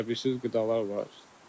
Bilirsiz qidalar var.